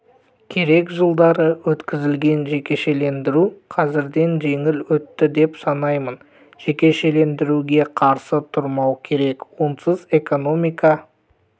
керек жылдары өткізілген жекешелендіру қазіргіден жеңіл өтті деп санаймын жекешелендіруге қарсы тұрмау керек онсыз экономика